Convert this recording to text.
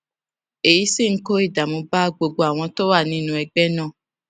èyí sì ń kó ìdààmú bá gbogbo àwọn tó wà nínú ẹgbé náà